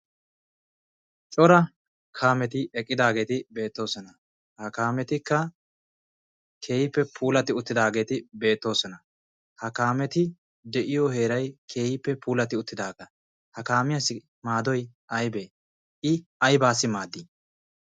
Cora kaameti eqqidaageeti beettoosona. Ha kaametikka keehippe puulati uttidaageeti beettoosona. Ha kaameti de'iyo heeray keehippe puulati uttidaaga. Ha kaamiyassi maaddoy aybbe? I aybbassi maaddi?